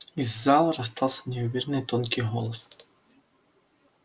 из зала раздался неуверенный тонкий голос